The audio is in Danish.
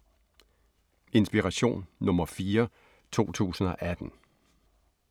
Inspiration nr. 4, 2018